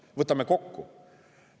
Võtame kokku.